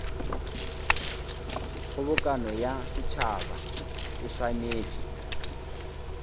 kgobokano ya setšhaba e swanetše